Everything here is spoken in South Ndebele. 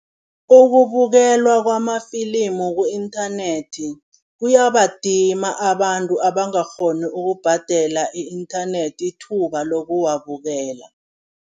Ukubukelwa kwamafilimu ku-internet, kuyabadima abantu abangakghoni ukubhadela i-internet ithuba lokuwabukela.